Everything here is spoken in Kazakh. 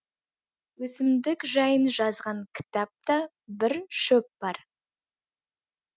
өсімдік жайын жазған кітапта бір шөп бар